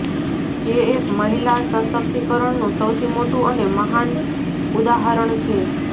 જે એક મહિલા સશક્તિકારણનું સૌથી મોટું અને મહાન ઉદાહરણ છે